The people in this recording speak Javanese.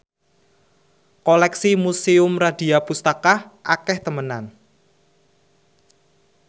koleksi Museum Radya Pustaka akeh temenan